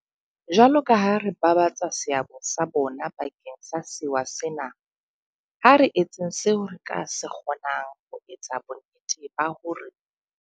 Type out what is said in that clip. Jwalokaha re babatsa seabo sa bona bakeng sa sewa sena, ha re etseng seo re ka se kgo nang ho etsa bonnete ba hore.